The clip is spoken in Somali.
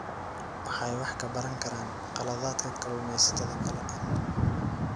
Waxay wax ka baran karaan khaladaadka kalluumaysatada kale.